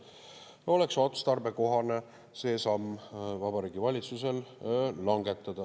oleks otstarbekohane see samm Vabariigi Valitsusel langetada.